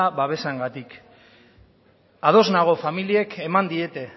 babesarengatik ados nago familiek eman diete